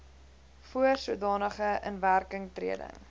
voor sodanige inwerkingtreding